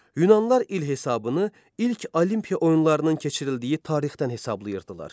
Yunanlılar il hesabını ilk Olimpiya oyunlarının keçirildiyi tarixdən hesablayırdılar.